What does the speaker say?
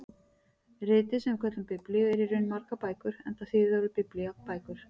Ritið sem við köllum Biblíu er í raun margar bækur enda þýðir orðið biblía bækur.